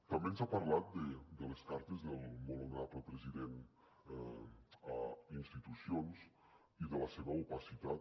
també ens ha parlat de les cartes del molt honorable president a institucions i de la seva opacitat